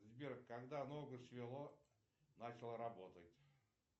сбер когда ногу свело начал работать